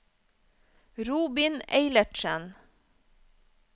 Robin Eilertsen